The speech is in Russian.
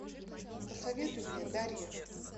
посоветуй мне дарья